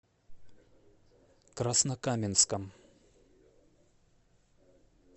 краснокаменском